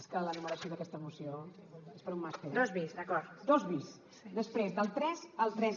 és que la numeració d’aquesta moció és per a un màster eh després del tres al tres